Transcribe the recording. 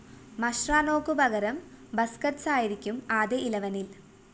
മഷ്‌റാനോക്കു പകരം ബസ്‌കറ്റ്‌സായിരിക്കും ആദ്യ ഇലവനില്‍